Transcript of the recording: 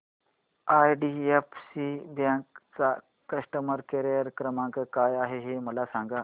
IDFC bank चा customer care क्रमांक काय आहे हे मला सांगा